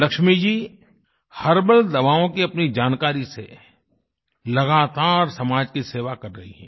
Lakshmi ji herbal दवाओं की अपनी जानकारी से लगातार समाज की सेवा कर रही हैं